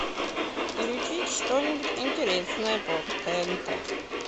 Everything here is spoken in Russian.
включить что нибудь интересное по тнт